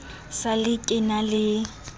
sa le ke na le